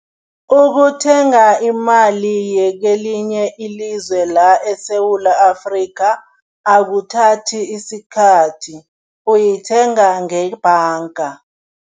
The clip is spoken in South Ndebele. Ukuthenga imali yekelinye ilizwe la eSewula Afrika akuthathi isikhathi, uyithenga ngebhanga.